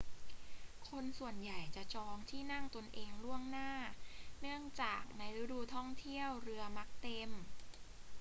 คนส่วนใหญ่จะจองที่นั่งตนเองล่วงหน้า เนื่องจากในช่วงฤดูท่องเที่ยวเรือมักเต็ม